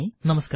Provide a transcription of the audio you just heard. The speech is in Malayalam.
നമസ്കാരം